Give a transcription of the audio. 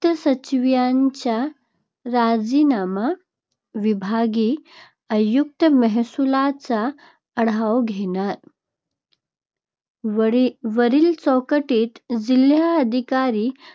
त् सचिवांचा राजीनामा. विभागीय आयुक्त महसुलाचा आढावा घेणार. वरील वरील चौकटीत जिल्हाधिकारी,